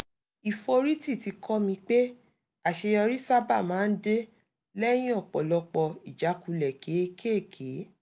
ìforítì ti kọ́ mi pé àṣeyọrí sábà máa ń dé lẹ́yìn ọ̀pọ̀lọpọ̀ ìjákulẹ̀ kéékèèké